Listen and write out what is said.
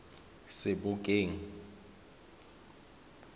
sebokeng